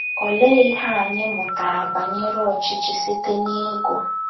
Olee Ihe Anyị Mụtara Banyere Ọchịchị Site n’Ịgụ.....